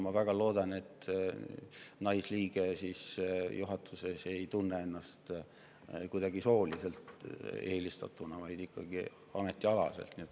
Ma väga loodan, et juhatuse naisliige ei tunne ennast kuidagi sooliselt eelistatuna, vaid ikkagi ametialaselt.